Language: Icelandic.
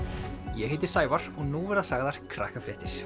ég heiti Sævar og nú verða sagðar